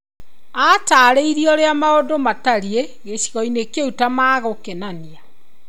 Aataarĩirie ũrĩa maũndũ matariĩ gĩcigo-inĩ kĩu ta magokenania.